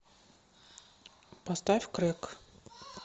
поставь крэк